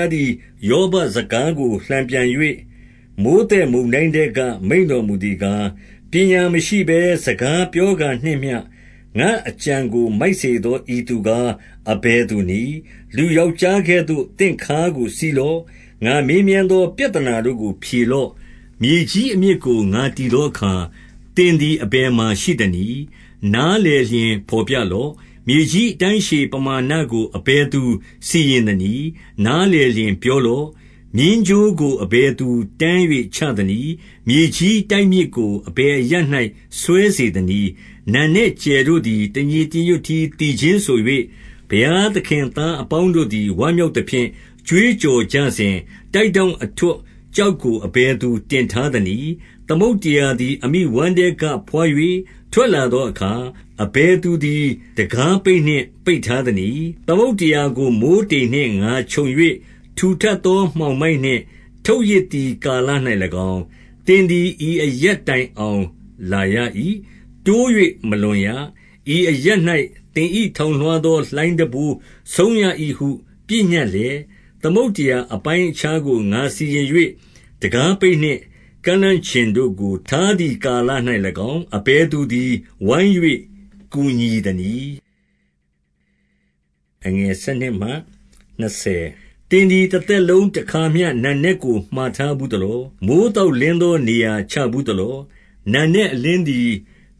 ားသည် ယောဘစကားကို လှန်ပြန်၍၊ မိုဃ်းသက်မုန်တိုင်းထဲက မိန့်တော်မူသည် ကား၊ 2 ပညာမရှိဘဲစကားပြောကာမျှနှင့် ငါ့အကြံကို မိုက်စေသော ဤ သူကား အဘယ်သူနည်း။ 3 လူယောက်ျားကဲ့သို့ သင့်ခါးကို စီးလော့။ ငါမေးမြန်းသော ပြဿနာတို့ကို ဖြေလော့။ 4 မြေကြီးအမြစ်ကို ငါတည်သောအခါ၊ သင်သည် အဘယ်မှာရှိသနည်း။ နားလည်လျှင် ဘော်ပြလော့။ 5 မြေကြီးအတိုင်းအရှည်ပမာဏကို အဘယ်သူ စီရင်သနည်း။ နားလည်လျှင်ပြောလော့။ မျဉ်းကြိုးကို အဘယ်သူတန်း၍ချသနည်း။ 6 မြေကြီးတိုက်မြစ်ကို အဘယ်အရပ်၌ စွဲစေ သနည်း။ 7 နံနက်ကြယ်တို့သည် တညီတညွတ်တည်း သီချင်းဆို၍၊ ဘုရားသခင်သားအပေါင်းတို့သည် ဝမ်း မြောက်သဖြင့်၊ ကြွေးကြော်ကြစဉ်၊ တိုက်ထောင့်အထွဋ် ကျောက်ကို အဘယ်သူတင်ထားသနည်း။ 8 သမုဒ္ဒရာသည်အမိဝမ်းထဲက ဘွား၍ ထွက်လာ သောအခါ၊ အဘယ်သူသည် တံခါးပိတ်နှင့် ပိတ်ထား သနည်း။ 9 သမုဒ္ဒရာကို မိုဃ်းတိမ်နှင့် ငါခြုံ၍ ထူထပ်သော မှောင်မိုက်နှင့် ထုပ်ရစ်သည်ကာလ၌၎င်း၊ 10 သင်သည်ဤအရပ်တိုင်အောင်လာရ၏။ 11 တိုး၍မလွန်ရ၊ ဤအရပ်၌သင်၏ ထောင်လွှားသောလှိုင်းတံပိုးဆုံးရ၏ဟု ပညက်လျက်၊ သမုဒ္ဒရာအပိုင်း အခြားကို ငါစီရင်၍၊ တံခါးပိတ်နှင့်ကန့်လန့်ကျင်တို့ကို ထားသည်ကာလ၌၎င်း၊ အဘယ်သူသည် ဝိုင်း၍ ကူညီ သနည်း။ 12 သင်သည်တသက်လုံးတွင် တခါမျှ နံနက်ကို မှာထားဘူးသလော။ မိုဃ်းသောက်လင်းကို နေရာချဘူး သလော။ 13 နံနက်အလင်းသည်